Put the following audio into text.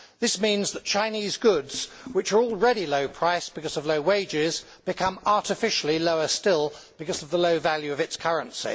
This means that Chinese goods, which are already low priced because of low wages, become artificially lower still because of the low value of its currency.